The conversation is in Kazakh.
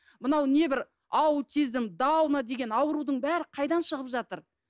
мынау небір аутизм дауна деген аурудың бәрі қайдан шығып жатыр